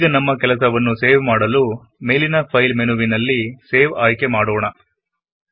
ಈಗ ನಮ್ಮ ಕೆಲಸವನ್ನು ಸೇವ್ ಮಾಡಲು ಮೇಲಿನ ಫೈಲ್ ಮೆನುವಿನಲ್ಲಿ ಸೇವ್ ಪದವನ್ನು ಚೂಸ್ ಮಾಡೋಣ